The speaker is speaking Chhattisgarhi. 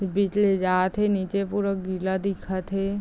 बिकले जात हे नीचे पुरा गीला दिखत हे।